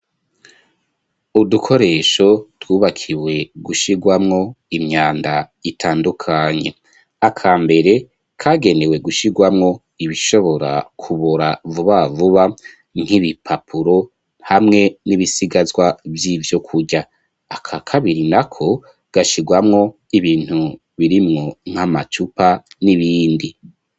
Udukoresho twubakiwe gushyigwamwo imyanda itandukanye aka mbere kagenewe gushyirgwamwo ibishobora kubora vuba vuba nk'ibipapuro hamwe n'ibisigazwa by'ibyo kujya aka kabiri na ko gashyigwamwo ibintu birimwo nk'amacupa n'ibindi.